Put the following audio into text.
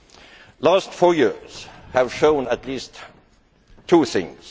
The last four years have shown at least two things.